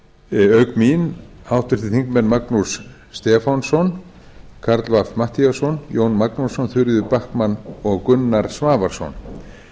auk mín háttvirtir þingmenn magnús stefánsson karl fimmti matthíasson jón magnússon þuríður backman og gunnar svavarsson